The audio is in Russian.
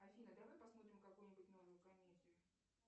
афина давай посмотрим какую нибудь новую комедию